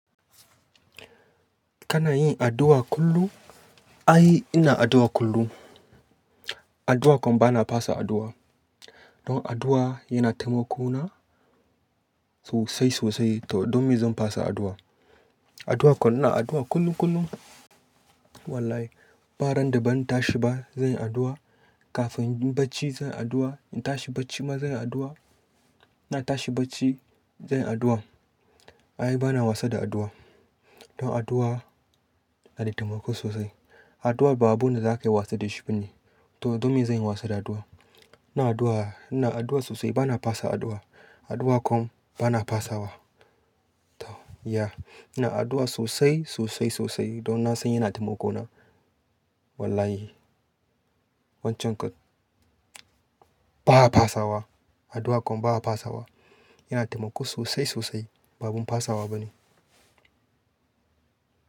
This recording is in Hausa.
Kana yin addu'a kullum? Ai, ina addu'a kullum. Addu'a kom bana fasa addu'a. Don addu'a yana taimako na sosai, sosai. To don me zan fasa addu'a? Addu'a kom ina addu'a kullum, kullum. Wallahi, baran da ban tashi ba zan yi addu'a. Kafin inyi barci zan yi addu'a. In tashi barci ma zan yi addu'a. Na tashi barci zan yi addu'a. Ai bana wasa da addu'a. Don addu'a na da taimako sosai. Addu'a babun wanda za ka iya wasa da shi bane. To don me zan yi wasa da addu'a? Ina addu'a, ina addu'a sosai bana fasa addu'a. Addu'a kom bana fasawa. To ya'ina addu'a sosai, sosai, sosai. Don na san yana taimako na. Wallahi. Wancan kom ba'a fasawa. Addu'a kom baya fasawa. Yana taimako sosai, sosai. Babun fasawa bane.